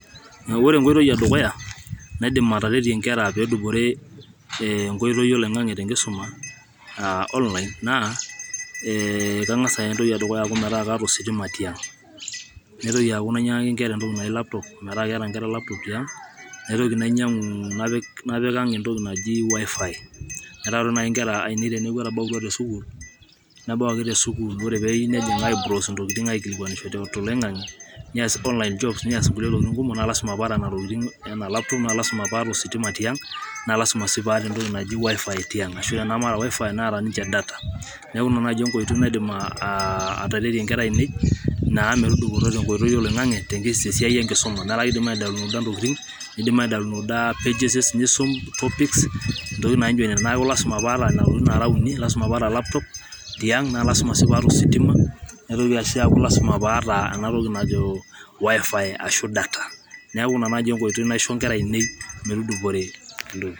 ore enkoitoi e dukuya naidim ataretie nkera pee edupore, enkoitoi e online, kangas aaku keeta nkera ositima tiang',,naitoki ainyiang'aki nkera .laptop., naitoki napika ang entoki naji .WiFi.,metaa ore naaji inkera ainei tenebau te sukuul, nebau ake te sukuul, oree pee eiyieu nejing ai.browse. intokitin toloingang'e ,nees online jobs. nees kulie tokitin kumok, naa lasima pee aata laptop, Neeta .wifi,.naa tenemeeta .wifi. Neeta data. neeku Ina naaji enkoitoi naidim ataretie inkera ainei metudupoto te nkoitoi oloing'ang'e, neeku lasima pee aata .wifi.,. laptop. arashu. data..neeku Ina naaji enkoitoi naidim aishoo inkera ainei metudupore